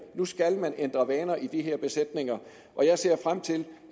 nu skal man ændre vaner i de her besætninger og jeg ser frem til